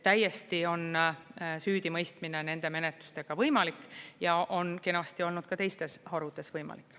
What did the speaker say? Täiesti on süüdimõistmine nende menetlustega võimalik ja on kenasti olnud ka teistes harudes võimalik.